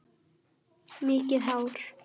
Mikið hár?